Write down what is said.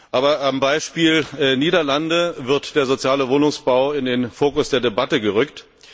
Aber am Beispiel der Niederlande wird der soziale Wohnungsbau in den Fokus der Debatte gerückt.